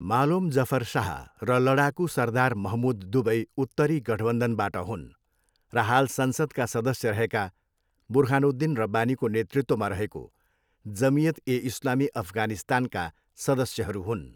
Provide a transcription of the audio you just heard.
मालोम जफर शाह र लडाकु सरदार महमुद दुबै उत्तरी गठबन्धनबाट हुन् र हाल संसद्का सदस्य रहेका बुर्हानुद्दिन रब्बानीको नेतृत्वमा रहेको जमियत ए इस्लामी अफगानिस्तानका सदस्यहरू हुन्।